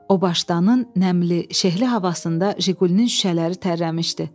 O başdanın nəmli, şehli havasında Jiqulinin şüşələri tərləmişdi.